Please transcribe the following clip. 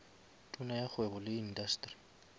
tona ya kgwebo le indasteri